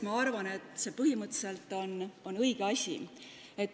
Ma arvan, et see on põhimõtteliselt õige asi.